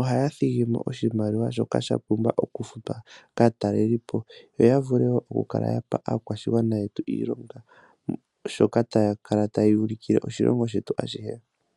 Ohaya thigi mo oshimaliwa shoka sha pumbwa okufutwa kaatalelipo yoya vule woo okupa aakwashigwana yetu iilonga sho taya kala tayeya ulikile oshilongo shetu ashihe.